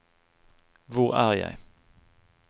hvor er jeg